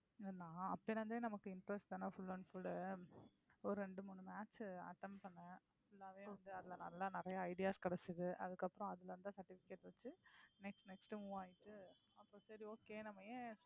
நான் அப்போலிருந்தே நமக்கு interest தான full and full ஒரு ரெண்டு மூணு match attend பண்ணேன full ஆவே வந்து அதுல நல்லா நிறைய ideas கிடைச்சிது அதுக்கப்பறம் அதுல இருந்த certificate வச்சு next next move ஆயிட்டு சரி okay நம்ம ஏன்